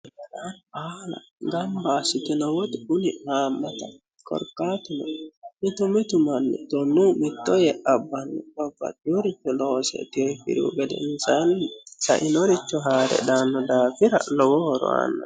Gamba assitino woxi kunni haammattaho korkaatuno mitu mitu manni tonunni mitto yee abbanno babbaxewore loosse itinohu gede sainoricho haare daanno daafira lowo horo aano.